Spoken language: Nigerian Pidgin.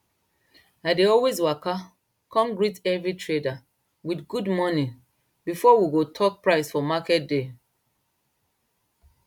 i dey always waka come greet every trader with good morning before we go talk price for market day